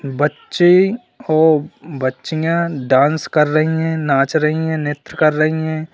बच्चे और बच्चियां डांस कर रही हैं नाच रही हैं नृत्य कर रही हैं।